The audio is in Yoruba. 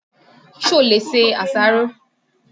Ṣo lè ṣe àṣàrò?